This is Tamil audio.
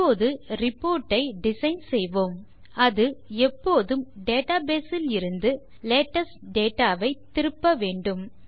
இப்போது ரிப்போர்ட் ஐ டிசைன் செய்வோம் அது எப்போதும் டேட்டாபேஸ் இலிருந்து லேட்டெஸ்ட் டேட்டா வை திருப்ப வேண்டும்